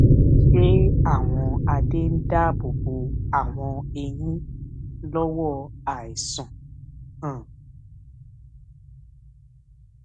ṣé àwọn adé ń dáàbò bo àwọn eyín lówó àìsàn um